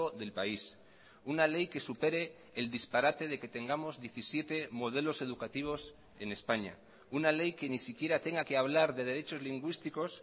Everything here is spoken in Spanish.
del país una ley que supere el disparate de que tengamos diecisiete modelos educativos en españa una ley que ni siquiera tenga que hablar de derechos lingüísticos